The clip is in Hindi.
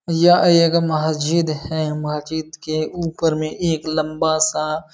यह एक मस्जिद है। मस्जिद के ऊपर में एक लम्बा सा --